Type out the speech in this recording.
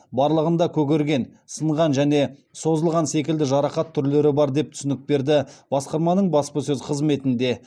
барлығында көгерген сынған және созылған секілді жарақат түрлері бар деп түсінік берді басқарманың баспасөз қызметінде